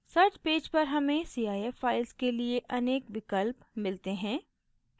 search page पर हमें cif files के लिए अनेक विकल्प मिलते हैं